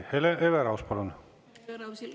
Hele Everaus, palun!